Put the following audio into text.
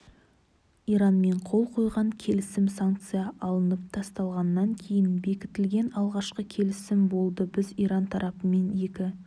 иранмен қол қойған келісім санкция алынып тасталғаннан кейін бекітілген алғашқы келісім болды біз иран тарапымен екі